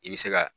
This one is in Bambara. I bɛ se ka